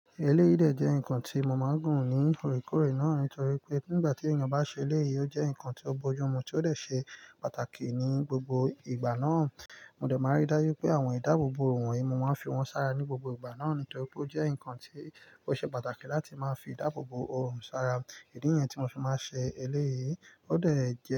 Eleyi de jẹ́ nǹkan tí mo máa ń gùn ní irọkọre náà nítorí pé nígbà tí èèyàn bá ṣe eléyìí, ó jẹ́ ǹkan tó bójú mu tí ó lè ṣe pàtàkì ní gbogbo ìgbà náà. Mo dẹ̀ máa rí dájú pé àwọn ìdáàbòbò òòrùn mi, mo máa ń fi wọ́n sára ní gbogbo ìgbà náà nítorí pé ó jẹ́ ǹkan tó ṣe pàtàkì láti máa fi ìdáàbòbò òòrùn sára. Idì nìyẹn ti mọ má fi sè eleyi, ọ dé jẹ́